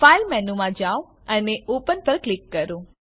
file મેનૂમાં જાઓ અને ઓપન પર ક્લિક કરો